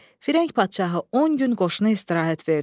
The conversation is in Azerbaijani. Firəng padşahı on gün qoşuna istirahət verdi.